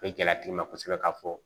O ye gɛlɛya tigi ma kosɛbɛ k'a fɔ